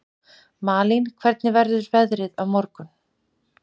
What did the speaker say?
Malín, hvernig verður veðrið á morgun?